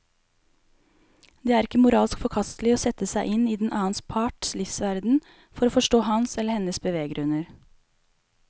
Det er ikke moralsk forkastelig å sette seg inn i den annen parts livsverden for å forstå hans eller hennes beveggrunner.